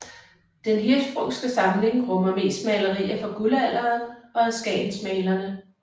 Den Hirschsprungske samling rummer mest malerier fra Guldalderen og af skagensmalerne